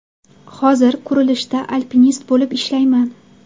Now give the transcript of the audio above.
Hozir qurilishda alpinist bo‘lib ishlayman.